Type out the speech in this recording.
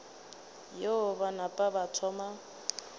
yeo ba napa ba thoma